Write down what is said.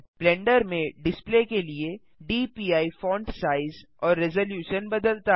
blender में display के लिए डीपीआई फ़ॉन्ट साइज और रेज़लूशन बदलता है